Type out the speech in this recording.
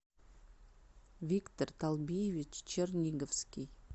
виктор талбиевич черниговский